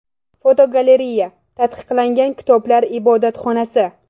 Fotogalereya: Taqiqlangan kitoblar ibodatxonasi.